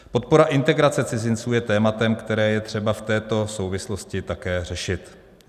Podpora integrace cizinců je tématem, které je třeba v této souvislosti také řešit.